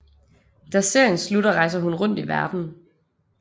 Da serien slutter rejser hun rundt i verdenen